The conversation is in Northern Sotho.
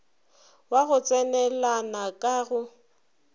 wa go tsenelana ka go